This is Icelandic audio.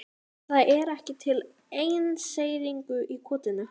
Það er ekki til einseyringur í kotinu.